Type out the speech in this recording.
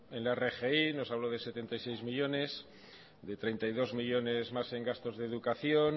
en la rgi nos habló de setenta y seis millónes de treinta y dos millónes más en gastos de educación